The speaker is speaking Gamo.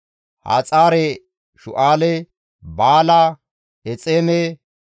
Haxaare-Shu7aale, Baala, Exeeme,